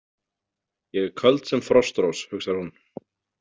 Ég er köld sem frostrós, hugsar hún.